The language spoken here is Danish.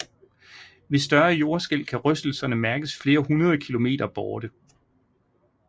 Ved større jordskælv kan rystelserne mærkes flere hundrede kilometer borte